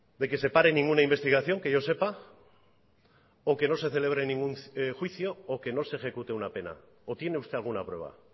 de que se pare ninguna investigación que yo sepa o que no se celebre ningún juicio o que no se ejecute una pena o tiene usted alguna prueba